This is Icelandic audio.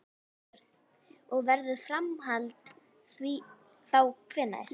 Björn: Og verður framhald þá hvenær?